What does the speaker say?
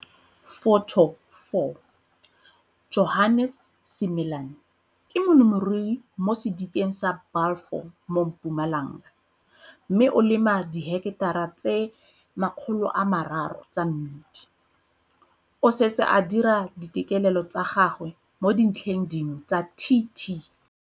Photo 4 - Johannes Simelane ke molemirui mo sedikeng sa Balfour mo Mpumalanga mme o lema diheketara tse 300 tsa mmidi. O setse a dira ditekelelo tsa gagwe mo dintlheng dingwe tsa TT.